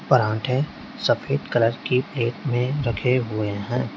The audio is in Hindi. पराठे सफेद कलर की प्लेट में रखे हुए हैं।